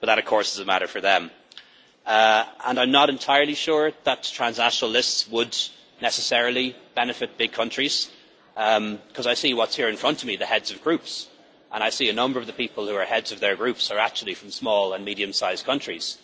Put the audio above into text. That, of course, is a matter for them. I am not entirely sure that transnational lists would necessarily benefit big countries because I see what is here in front of me the heads of groups and I see that a number of the people who are heads of their groups are actually from small and medium-sized countries.